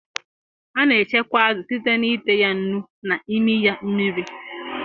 A na echekwa azụ site n'ite ya nnu na imi ya mmiri